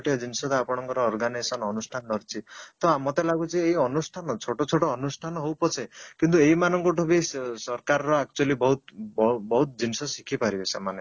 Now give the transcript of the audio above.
ଜିନିଷ ତ ଆପଣଙ୍କର organisation ଅନୁଷ୍ଠାନ ରହିଛି ତ ମତେ ଲାଗୁଛି ଏଇ ଅନୁଷ୍ଠାନ ଛୋଟ ଛୋଟୋ ଅନୁଷ୍ଠାନ ହଉ ପଛେ କିନ୍ତୁ ଏଇମାନଙ୍କ ଠୁ ବି ସରକାର ର ବି actually ବହୁତ ବହୁତ ଜିନିଷ ଶିଖିପାରିବେ ସେମାନେ